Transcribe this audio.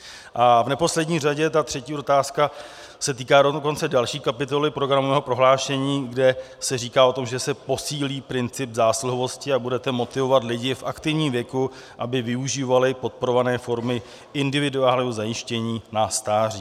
A v neposlední řadě, ta třetí otázka se týká dokonce další kapitoly programového prohlášení, kde se říká o tom, že se posílí princip zásluhovosti a budete motivovat lidi v aktivním věku, aby využívali podporované formy individuálního zajištění na stáří.